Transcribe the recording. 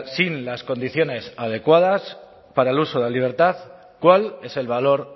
sin las condiciones adecuadas para el uso de la libertad cuál es el valor